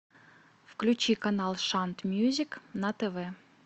включи канал шант мьюзик на тв